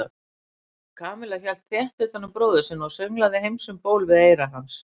Kamilla hélt þétt utan um bróður sinn og sönglaði Heims um ból við eyra hans.